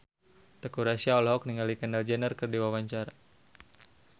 Teuku Rassya olohok ningali Kendall Jenner keur diwawancara